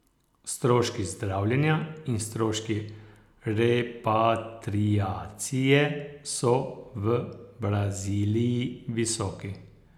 Stroški zdravljenja in stroški repatriacije so v Braziliji visoki.